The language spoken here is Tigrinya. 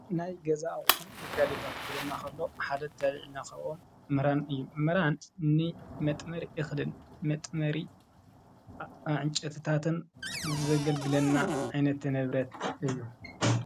ናይ ገዛ ኣቁሑ ነጋዲታትኲለና ኸሎ ሓደ ኣየልናኸኦም ምራን እዩ ምራን መጥመሪ እኽድን መጥመሪ ዕንጨትታትን ዘገልግለና ኣይነት ነብረት እዩ።